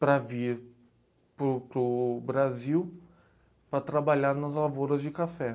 para vir para o para o Brasil para trabalhar nas lavouras de café.